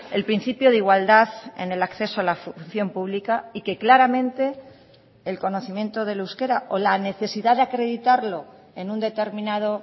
el principio de igualdad en el acceso a la función pública y que claramente el conocimiento del euskera o la necesidad de acreditarlo en un determinado